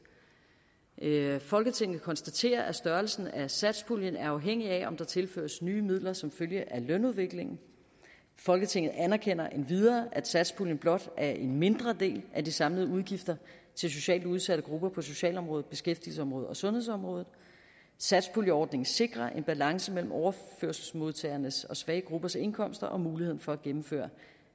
folketinget konstaterer at størrelsen af satspuljen er afhængig af om der tilføres nye midler som følge af lønudviklingen folketinget anerkender endvidere at satspuljen blot er en mindre del af de samlede udgifter til socialt udsatte grupper på socialområdet beskæftigelsesområdet og sundhedsområdet satspuljeordningen sikrer en balance mellem overførselsmodtagernes og svage gruppers indkomster og muligheden for at gennemføre